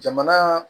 Jamana